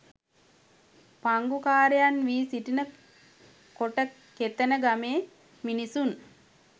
පංගුකාරයන් වී සිටින කොටකෙතන ගමේ මිනිසුන්